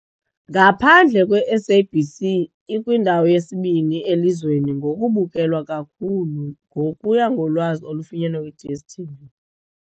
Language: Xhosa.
Ngaphandle kweSABC, ikwindawo yesibini elizweni ngokubukelwa kakhulu, ngokuya ngolwazi olufunyenwe kwi-DStv .